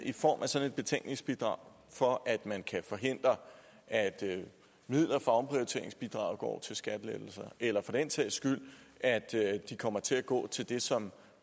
i form af sådan et betænkningsbidrag for at man kan forhindre at midler fra omprioriteringsbidraget går til skattelettelser eller for den sags skyld at de kommer til at gå til det som